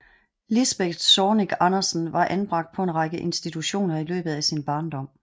Lisbeth Zornig Andersen var anbragt på en række institutioner i løbet af sin barndom